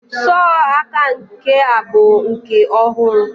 sọ aka nke a bụ nke ọhụrụ.